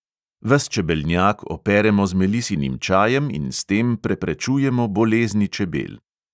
Ves čebelnjak operemo z melisinim čajem in s tem preprečujemo bolezni čebel.